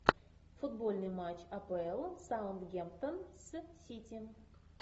футбольный матч апл саутгемптон с сити